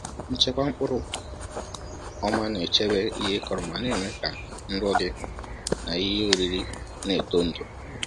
Nchekwa mkpụrụ ọma na-echebe ihe ị kọrọ ma na-eme ka nrọ gị n’ihe oriri na-eto ndụ.